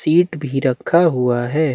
Seat भी रखा हुआ है।